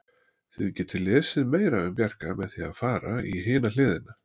Þið getið lesið meira um Bjarka með því að fara í hina hliðina.